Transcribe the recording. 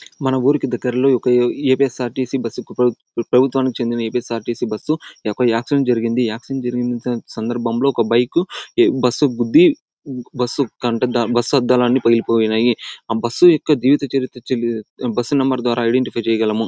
మన ఉరికి దగ్గర్లో ఒక ఎ_పి_ఎస్_ఆర్_టి_సి బస్సు ప్ర ప్రభుత్వానికి చెందిన ఎ_పి_ఎస్_ఆర్_టి_సి బస్సు ఎక్కడో ఆక్సిడెంట్ జరిగింది. ఆక్సిడెంట్ జరిగిన సందర్భంలో ఒక బైకు బస్సు కి గుద్ది బస్సు అద్దాలన్నీ పగిలిపోయిన్నాయి. ఆ బస్సు యొక్క జీవిత చరిత్ర బస్సు నెంబర్ ద్వారా ఐడెంటిఫై చేయగలము.